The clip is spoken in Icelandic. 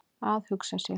Að hugsa sér!